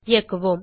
இயக்குவோம்